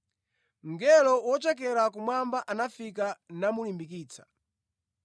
Mngelo wochokera kumwamba anafika namulimbikitsa.